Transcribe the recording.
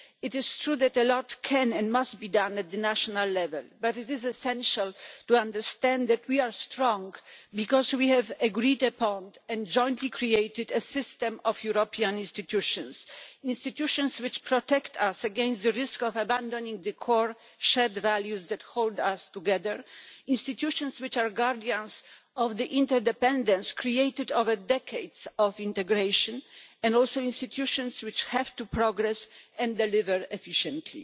It is true that a lot can, and must, be done at the national level, but it is essential to understand that we are strong because we have agreed upon, and jointly created, a system of European institutions institutions which protect us against the risk of abandoning the core shared values that hold us together, institutions which are guardians of the interdependence created over decades of integration, and also institutions which have to progress and deliver efficiently.